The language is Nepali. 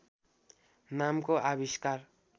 नामको आविष्कार